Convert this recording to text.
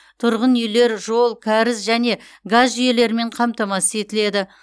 тұрғын үйлер жол кәріз және газ жүйелерімен қамтамасыз етіледі